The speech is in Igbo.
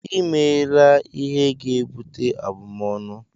I meela ihe ga-ebute abumọnu!